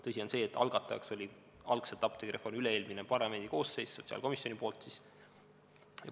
Tõsi on see, et apteegireformi algatajaks oli algselt üle-eelmine parlamendikoosseis, sotsiaalkomisjon siis.